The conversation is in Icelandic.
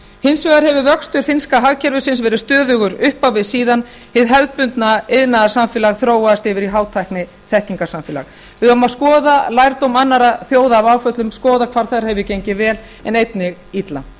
hins vegar hefur vöxtur finnska hagkerfisins verið stöðugur upp á við síðan hið hefðbundna iðnaðarsamfélag þróaðist yfir í hátækniþekkingarsamfélag við eigum að skoða lærdóm annarra þjóða af áföllum skoða hvar þar hefur gengið vel en einnig illa